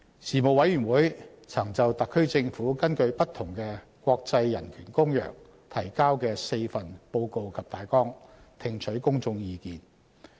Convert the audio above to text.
事務委員會曾就特區政府根據不同的國際人權公約提交的4份報告及大綱，聽取公眾意見。